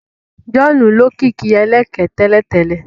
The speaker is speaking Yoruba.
John olókìkí ẹlẹ̀kẹ tẹ́lẹ̀tẹ́lẹ̀